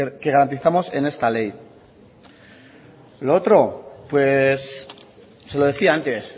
que garantizamos en esta ley lo otro pues se lo decía antes